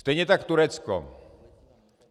Stejně tak Turecko.